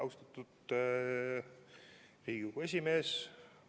Austatud Riigikogu esimees!